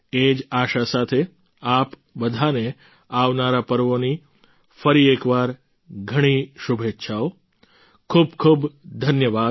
એ જ આશા સાથે આપ બધાને આવનારા પર્વોની ફરી એકવાર ઘણી શુભેચ્છાઓ ખૂબ ખૂબ ધન્યવાદ